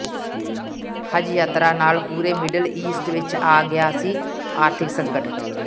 ਹਜ ਯਾਤਰਾ ਨਾਲ ਪੂਰੇ ਮਿਡਿਲ ਈਸਟ ਵਿੱਚ ਆ ਗਿਆ ਸੀ ਆਰਥਿਕ ਸੰਕਟ